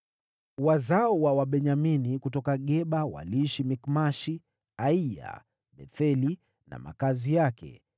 Wazao wa Wabenyamini kutoka Geba waliishi Mikmashi, Aiya, Betheli na makazi yake,